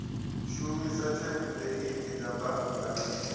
shumisa thempuleithi dza bannga na